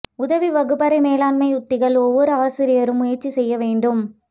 உதவி வகுப்பறை மேலாண்மை உத்திகள் ஒவ்வொரு ஆசிரியரும் முயற்சி செய்ய வேண்டும்